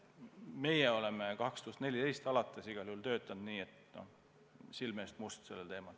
Meie oleme 2014. aastast alates igal juhul selle teema kallal töötanud nii, et silme eest must.